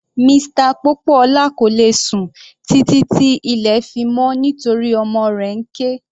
Mr Popoola kò lè sùn títí tí ilẹ̀ fi mọ́ nítorí ọmọ rẹ̀ ń ké.